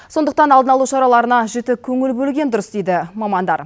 сондықтан алдын алу шараларына жіті көңіл бөлген дүрыс дейді мамандар